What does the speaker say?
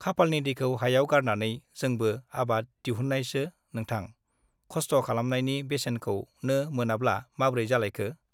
खाफालनि दैखौ हायाव गारनानै जोंबो आबाद दिहुननायसो नोंथां । खस्थ' खालामनायनि बेसेनखौनो मोनाब्ला माब्रै जालायखो ?